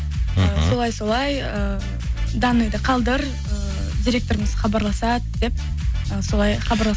мхм солай солай ііі данныйды қалдыр директорымыз хабарласады деп солай хабарлас